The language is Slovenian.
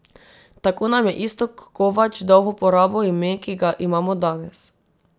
Tako nam je Iztok Kovač dal v uporabo ime, ki ga imamo danes.